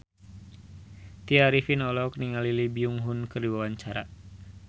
Tya Arifin olohok ningali Lee Byung Hun keur diwawancara